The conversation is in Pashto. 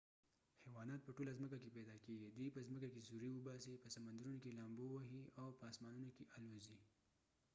حیوانات په ټوله ځمکه کې پیدا کېږی ، دوي په ځمکه کې سوری اوباسی ،په سمندرونو کې لامبو وهی، او په اسمانونو کې الوزی